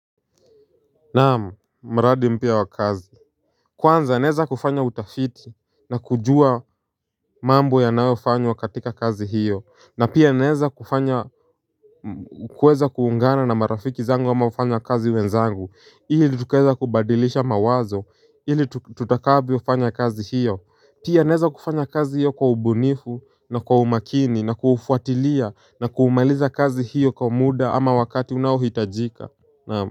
Naam maradi mpya wa kazi Kwanza naeza kufanya utafiti na kujua mambo yanayofanywa katika kazi hiyo na pia aneza kufanya kueza kuungana na marafiki zangu ama wafanyakazi wenzangu hili tukueza kubadilisha mawazo hili tutakabio fanya kazi hiyo Pia naeza kufanya kazi hiyo kwa ubunifu na kwa umakini na kufuatilia na kuumaliza kazi hiyo kwa muda ama wakati unaohitajika naam.